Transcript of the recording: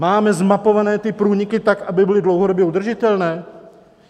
Máme zmapovány ty průniky tak, aby byly dlouhodobě udržitelné?